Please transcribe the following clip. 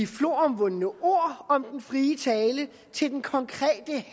floromvundne ord om den frie tale til den konkrete